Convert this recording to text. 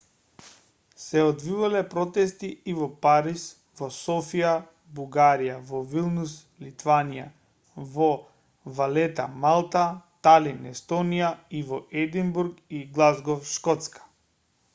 се одвивале протести и во париз во софија бугарија во вилнус литванија во валета малта талин естонија и во единбург и глазгов шкотска